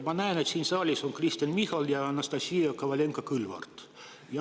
Ma näen, et siin saalis on Kristen Michal ja Anastassia Kovalenko-Kõlvart.